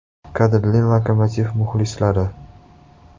Qadrli “Lokomotiv” muxlislari!